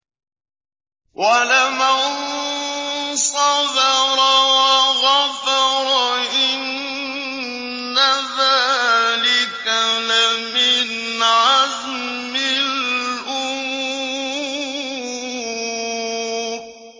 وَلَمَن صَبَرَ وَغَفَرَ إِنَّ ذَٰلِكَ لَمِنْ عَزْمِ الْأُمُورِ